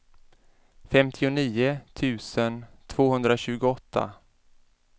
femtionio tusen tvåhundratjugoåtta